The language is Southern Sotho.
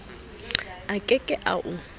a ke ke a o